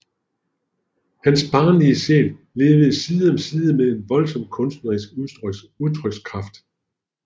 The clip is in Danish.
Hans barnlige sjæl levede side om side med en voldsom kunstnerisk udtrykskraft